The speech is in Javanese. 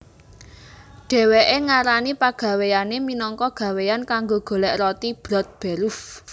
Dhèwèké ngarani pagawéyané minangka gawéan kanggo golèk roti Brotberuf